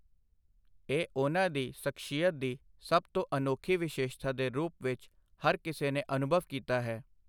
ਇਹ ਉਨ੍ਹਾਂ ਦੀ ਸਖ਼ਸ਼ੀਅਤ ਦੀ ਸਭ ਤੋਂ ਅਨੋਖੀ ਵਿਸ਼ੇਸ਼ਤਾ ਦੇ ਰੂਪ ਵਿੱਚ ਹਰ ਕਿਸੇ ਨੇ ਅਨੁਭਵ ਕੀਤਾ ਹੈ।